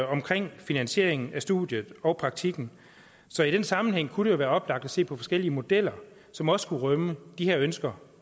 omkring finansieringen af studiet og praktikken så i den sammenhæng kunne det jo være oplagt at se på forskellige modeller som også kunne rumme de her ønsker